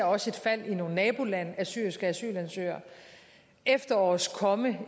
også ser i nogle nabolande af syriske asylansøgere og efterårets komme